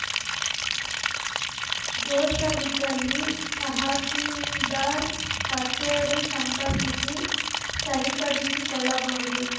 ದೋಷವಿದ್ದಲ್ಲಿ ತಹಸೀಲ್ದಾರ್‌ ಕಚೇರಿ ಸಂಪರ್ಕಿಸಿ ಸರಿಪಡಿಸಿ ಕೊಳ್ಳಬಹುದು